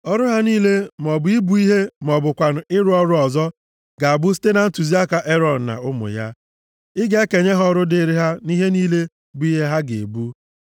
Ọrụ ha niile, maọbụ ibu ihe ma ọ bụkwanụ ịrụ ọrụ ọzọ, ga-abụ site na ntụziaka Erọn na ụmụ ya. Ị ga-ekenye ha ọrụ dịrị ha nʼihe niile bụ ihe ha ga-ebu.